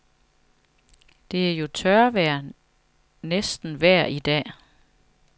Det er jo tørvejr næsten vejr dag.